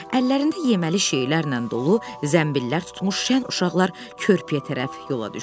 Əllərində yeməli şeylərlə dolu zəmbillər tutmuş şən uşaqlar körpüyə tərəf yola düşdülər.